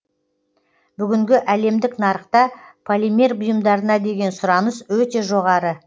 бүгінгі әлемдік нарықта полимер бұйымдарына деген сұраныс өте жоғары